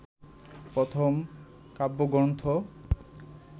প্রথম কাব্যগ্রন্থ